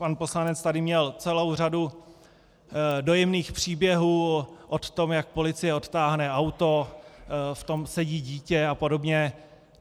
Pan poslanec tady měl celou řadu dojemných příběhů o tom, jak policie odtáhne auto, v tom sedí dítě a podobně.